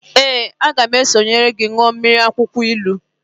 Ee, a ga m esonyere gi rie mmiri akwukwo ilu